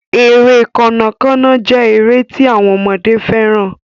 Ere Kànnà Kànnà jé èrè tí àwọn ọmọdé féràn.